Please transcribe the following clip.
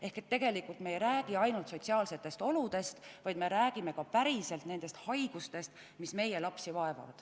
Ehk tegelikult me ei räägi ainult sotsiaalsetest oludest, vaid me räägime ka haigustest, mis meie lapsi vaevavad.